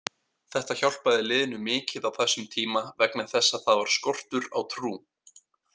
Þetta hjálpaði liðinu mikið á þessum tíma vegna þess að það var skortur á trú.